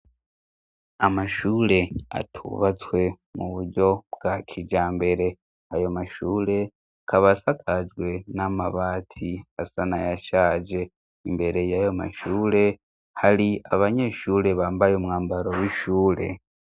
amashure atubatswe muburyo bwakijambere ayo mashure akabasakajwe n'amabati asanayashaje imbere yayo mashure hari abanyeshure bambaye umwambaro w'ishure